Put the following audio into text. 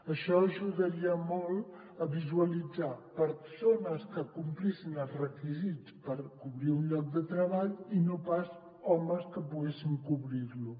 això ajudaria molt a visualitzar persones que complissin els requisits per cobrir un lloc de treball i no pas homes que poguessin cobrir·lo